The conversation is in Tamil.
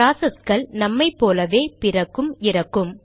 ப்ராசஸ்கள் நம்மை போலவே பிறக்கும் இறக்கும்